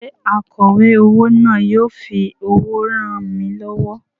Ṣé akọ̀wé owó náà yóò fi owó ràn mí lọ́wọ́?